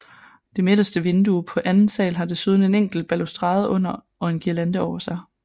Det midterste vindue på anden sal har desuden en enkelt balustrade under og en guirlande over sig